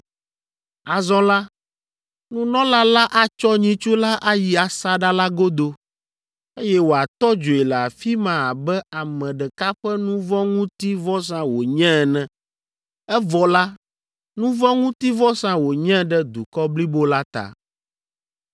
Azɔ la, nunɔla la atsɔ nyitsu la ayi asaɖa la godo, eye wòatɔ dzoe le afi ma abe ame ɖeka ƒe nu vɔ̃ ŋuti vɔsa wònye ene, evɔ la, nu vɔ̃ ŋuti vɔsa wònye ɖe dukɔ blibo la ta.